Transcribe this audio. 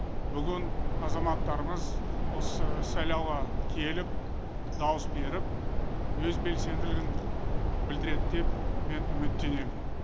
бүгін азаматтарымыз осы сайлауға келіп дауыс беріп өз белсенділігін білдіреді деп мен үміттенемін